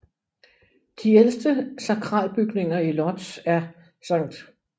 De ældste sakralbygninger i Łódź er St